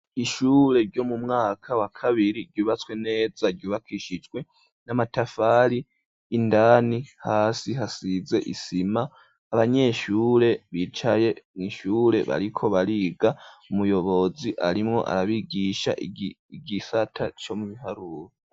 Ishure ryo mu mwaka wa kabiri ,ryubatswe neza ,ryubakishijwe n'amatafari ,indani hasi hasize isima ,abanyeshure bicaye mw'shure bariko bariga, umuyobozi arimwo arabigisha igisata co mu biharuro.